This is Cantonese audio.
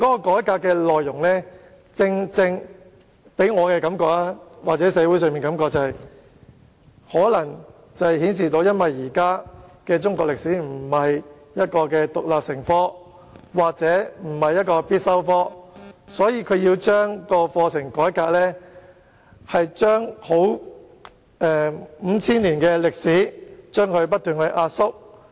改革建議給予我或社會的感覺是，可能由於現時中史並非獨立成科，亦不是必修科，所以局方擬改革有關課程，將五千年歷史不斷壓縮。